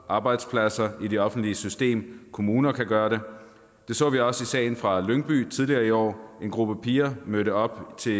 arbejdspladser og i det offentlige system og kommunerne kan gøre det det så vi også i sagen fra lyngby tidligere i år hvor en gruppe piger mødte op til